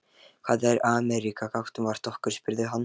Hvað er Ameríka gagnvart okkur? spurði hann.